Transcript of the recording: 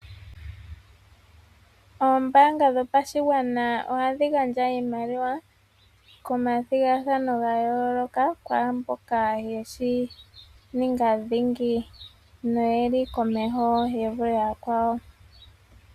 Ombaanga yopashigwana ohayi gandja iimaliwa komathigathano ga yooloka, kwaamboka ye shi ninga dhingi noye li komeho ye vule yakwawo.